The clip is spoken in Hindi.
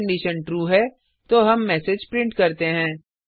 यदि कंडिशन ट्रू है तो हम मैसेज प्रिंट करते हैं